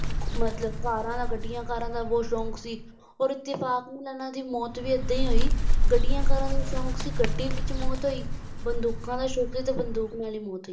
ਮਤਲਬ ਕਾਰਾਂ ਦਾ ਗੱਡੀਆਂ ਕਾਰਾਂ ਦਾ ਬਹੁਤ ਸ਼ੌਂਕ ਸੀ ਔਰ ਫਿਰ ਇੱਤੇਫਾਕ ਨਾਲ ਇਨ੍ਹਾਂ ਦੀ ਮੌਤ ਵੀ ਐਦਾਂ ਹੀ ਹੋਈ ਗੱਡੀਆਂ ਕਾਰਾਂ ਦਾ ਸ਼ੌਂਕ ਗੱਡੀ ਵਿੱਚ ਮੌਤ ਹੋਈ ਬੰਦੂਕਾਂ ਦਾ ਸ਼ੌਂਕ ਸੀ ਤਾ ਬੰਦੂਕ ਨਾਲ ਹੀ ਮੌਤ ਹੋਈ